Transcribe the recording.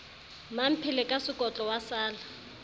mmamphele ka sekotlo wa sala